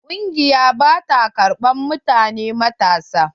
Ƙungiyar ba ta ƙarban mutane matasa.